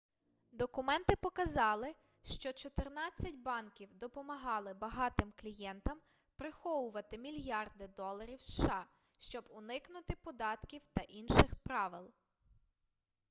документи показали що чотирнадцять банків допомагали багатим клієнтам приховувати мільярди доларів сша щоб уникнути податків та інших правил